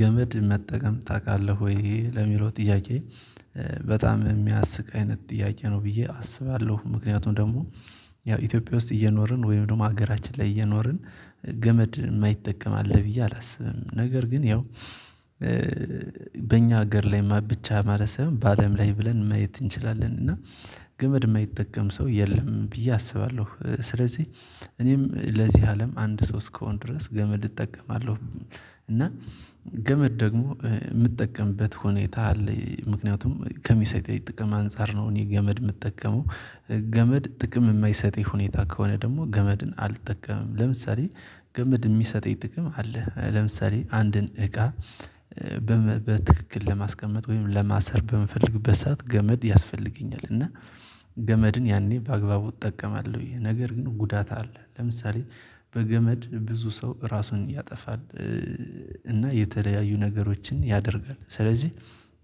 ገመድ መጠቀም ታቃለህ ወይ ለሚለው ጥያቄ? በጣም የሚያስቅ አይነት ጥያቄ ነው ብዬ አስባለሁ ምክንያቱም ደግሞ። ያው ኢትዮጵያ ውስጥ እየኖርን ወይም ደግሞ ሀገራችን ላይ እየኖርን። ገመድ የማይጠቀም አለ ብዬ አላስብም ነገር ግን ያው። በእኛ ሀገር ላይ ብቻ ማለት ሳይሆን በአለም ላይ ብለን መየት እንችላለን እና ገመድ የማይጠቀም ሰው የለም ብዬ አስባለሁ። ስለዚህ እኔም ለዚህ አለም አንድ ስው እስከሆነ ድረስ ገመድ እጠቀማለሁ። እና ገመድ ደግሞ ምጠቀምበት ሁኔታ አለ ምክንያቱም ከሚሰጠኝ ጥቅም አንፃር ነው እኔ ገመድ የምጠቀመው። ገመድ ጥቅም የማይሰጥ ሁኔታ ከሆነ ደግሞ ገመድን አልጠቀምም። ለምሳሌ ገመድ የሚሰጠኝ ጥቅም አለ ለምሳሌ አንድን እቃ። በትክክል ለማስቀመጥ ወይም ለማሰር በምፈልግበት ሰዓት ገመድ ያስፈልገኛል። እና ገመድን ያኔ በአግባቡ እጠቀማለሁ። ይሄ ነገር ግን ጉዳት አለ ለምሳሌ በገመድ ብዙ ሰው ራሱን ያጠፋል። እና የተለያዩ ነገሮችን ያደርጋል። ስለዚህ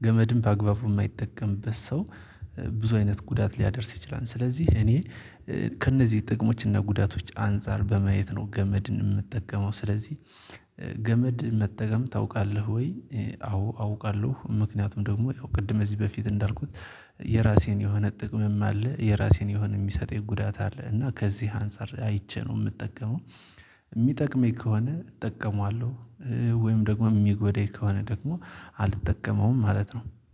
ገመድም በአግባቡ የማይጠቀምበት ሰው ብዙ አይነት ጉዳት ሊያደርስ ይችላል። ስለዚህ እኔ ከእነዚህ ጥቅሞችና ጉዳቶች አንፃር በማየት ነው ገመድን ምጠቀመው። ስለዚህ ገመድ መጠቀም ታውቃለህ ወይ? አዎ አውቃለሁ ምክንያቱም ደግሞ ያው ቅድም እዚህ በፊት እንዳልኩት። የራሴን የሆነ ጥቅምም አለ የራሴን የሆነ የሚሰጠኝ የጉዳት አለ እና ከዚህ አንፃር አይቼ ነው የምጠቀመው። ሚጠቅመኝ ከሆነ እጠቀማለሁ። ወይም ደግሞ ሚጎዳኝ ከሆነ ደግሞ አልጠቀመውም ማለት ነው